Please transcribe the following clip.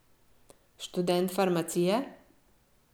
Študent farmacije?